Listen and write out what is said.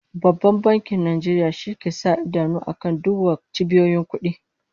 Babban Bankin Nigeria shi ke sa idanu akan duk was cibiyoyin kudi